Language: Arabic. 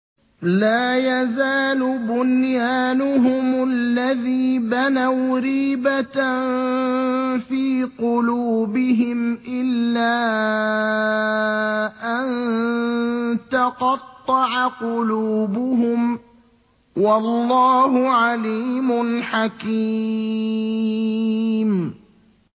لَا يَزَالُ بُنْيَانُهُمُ الَّذِي بَنَوْا رِيبَةً فِي قُلُوبِهِمْ إِلَّا أَن تَقَطَّعَ قُلُوبُهُمْ ۗ وَاللَّهُ عَلِيمٌ حَكِيمٌ